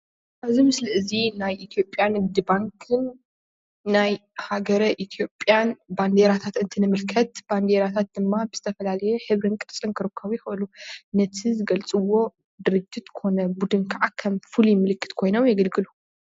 እዚ ምስሊ እዚ ናይ ኢትዮጵያ ንግዲ ባንክን ናይ ሃገረ ኢትዮጵያን ባንዴራታት እንትንምልከት ባዴራታት ድማ ብዝተፈላለዩ ሕብርን ቅርፅን ክርከቡ ይክእሉ፡፡ ነቲ ዝገልፅዎ ድርጅት ኮነ ቡድን ከዓ ከም ፍሉይ ምልክት ኮይኖም የገልግል፡፡